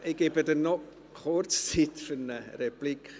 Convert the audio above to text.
Ich gebe dir noch kurz Zeit für eine Replik.